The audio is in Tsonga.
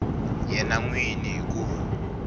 yena n wini hi ku